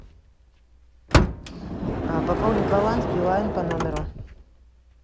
пополнить баланс билайн по номеру